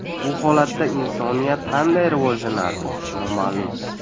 Bu holatda insoniyat qanday rivojlanardi – noma’lum.